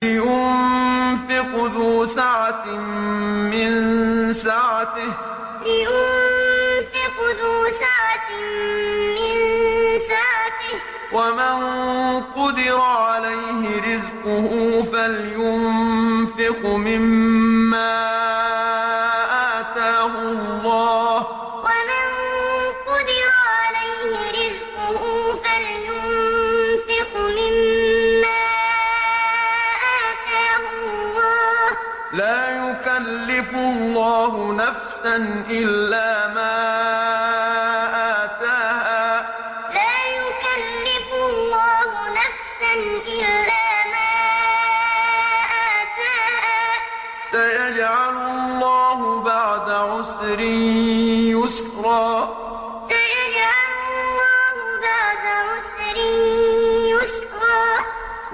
لِيُنفِقْ ذُو سَعَةٍ مِّن سَعَتِهِ ۖ وَمَن قُدِرَ عَلَيْهِ رِزْقُهُ فَلْيُنفِقْ مِمَّا آتَاهُ اللَّهُ ۚ لَا يُكَلِّفُ اللَّهُ نَفْسًا إِلَّا مَا آتَاهَا ۚ سَيَجْعَلُ اللَّهُ بَعْدَ عُسْرٍ يُسْرًا لِيُنفِقْ ذُو سَعَةٍ مِّن سَعَتِهِ ۖ وَمَن قُدِرَ عَلَيْهِ رِزْقُهُ فَلْيُنفِقْ مِمَّا آتَاهُ اللَّهُ ۚ لَا يُكَلِّفُ اللَّهُ نَفْسًا إِلَّا مَا آتَاهَا ۚ سَيَجْعَلُ اللَّهُ بَعْدَ عُسْرٍ يُسْرًا